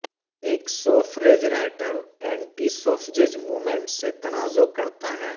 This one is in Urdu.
ایک suffrage writer anti suffrage movement سے تنازع کرتا ہے